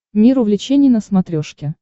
мир увлечений на смотрешке